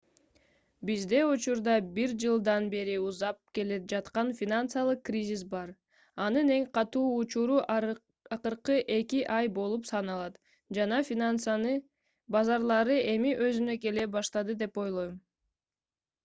бизде учурда бир жылдан бери узап келе жаткан финансылык кризис бар анын эң катуу учуру акыркы эки ай болуп саналат жана финансы базарлары эми өзүнө келе баштады деп ойлойм